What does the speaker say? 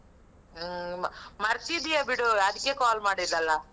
ಹಾ, ಮರ್ತಿದ್ದೀಯ ಬಿಡು, ಅದಿಕ್ಕೆ call ಮಾಡಿರಲ್ಲ?